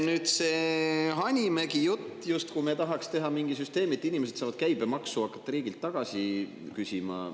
Nüüd, see Hanimägi jutt, justkui me tahaks teha mingi süsteemi, et inimesed saavad hakata käibemaksu riigilt tagasi küsima.